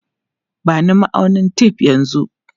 Ba ni ma'aunin tef yanzu!